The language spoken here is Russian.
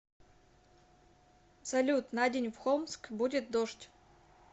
салют на день в холмск будет дождь